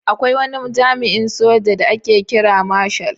Akwai wani jami'in soja da ake kira marshal.